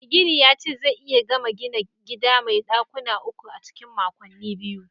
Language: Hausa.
Mai gini yace zai iya gama gina gida mai dakuna uku a cikin makonni biyu